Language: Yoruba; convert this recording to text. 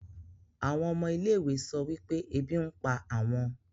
àwọn ọmọ ilé-ìwé sọ wípé ebi ń pa àwọn